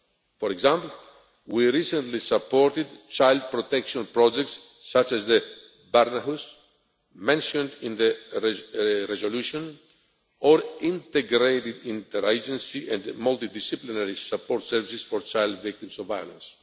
For example, we recently supported child protection projects such as the Barnhuset, which is mentioned in the resolution, or integrated inter agency and multidisciplinary support services for child victims of violence.